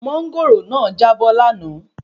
Máńgòrò náà já bọ́ láàná